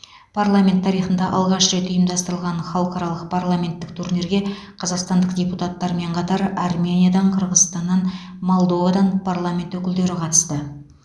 парламент тарихында алғаш рет ұйымдастырылған халықаралық парламенттік турнирге қазақстандық депутаттармен қатар армениядан қырғызстаннан молдовадан парламент өкілдері қатысты